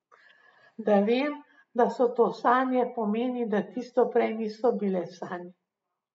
Da vem, da so to sanje, pomeni, da tisto prej niso bile sanje.